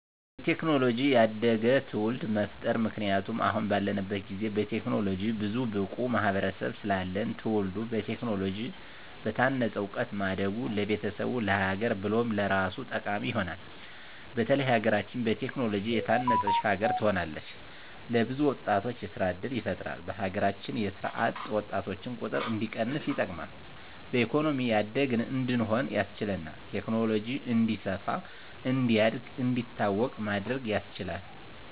በቴክኖሎጂ ያደገ ትዉልድ መፍጠር ምክንያቱም አሁን ባለንበት ጊዜ በቴክኖሎጂ ብዙም ብቁ ማህበረሰብ ስለለለን ትዉልዱ በቴክኖሎጂ በታነፀ እዉቀት ማደጉ ለቤተሰቡ፣ ለሀገር ብሎም ለራሱ ጠቃሚ ይሆናል። በተለይ ሀገራችን በቴክኖሎጂ የታነፀች ሀገር ትሆናለች። ለብዙ ወጣቶች የስራ እድል ይፈጥራል በሀገራችን የስራ አጥ ወጣቶችን ቁጥር እንዲቀንስ ይጠቅማል። በኢኮኖሚ ያደግን እንድንሆን ያስችላል። ቴክኖሎጂ እንዲስፋ፣ እንዲያድግ፣ እንዲታወቅ ማድረግ ያስችላል።